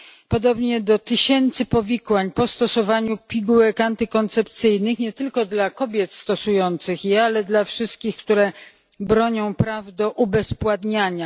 podobnie do tysięcy powikłań po stosowaniu pigułek antykoncepcyjnych nie tylko dla kobiet stosujących je, ale dla wszystkich, które bronią praw do ubezpładniania.